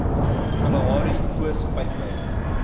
kalahari oos pyplyn